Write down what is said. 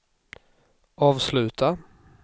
avsluta